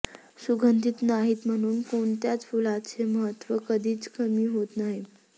सुगंधित नाहीत म्हणून कोणत्याच फुलांचे महत्त्व कधीच कमी होत नाही